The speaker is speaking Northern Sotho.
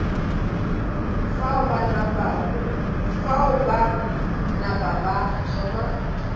fao ba napa ba thoma